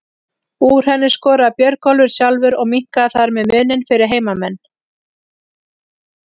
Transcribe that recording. Úr henni skoraði Björgólfur sjálfur og minnkaði þar með muninn fyrir heimamenn.